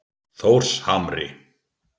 Þórshamri